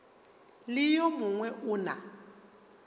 le yo mongwe o na